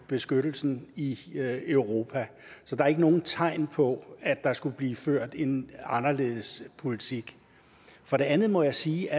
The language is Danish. beskyttelsen i europa så der er ikke nogen tegn på at der skulle blive ført en anderledes politik for det andet må jeg sige at